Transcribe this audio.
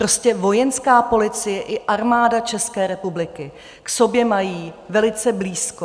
Prostě Vojenské policie i Armáda České republiky k sobě mají velice blízko.